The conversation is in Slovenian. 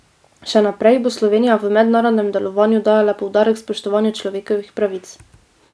Še naprej bo Slovenija v mednarodnem delovanju dajala poudarek spoštovanju človekovih pravic.